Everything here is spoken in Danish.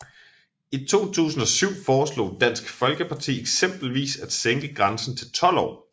I 2007 foreslog Dansk Folkeparti eksempelvis at sænke grænsen til 12 år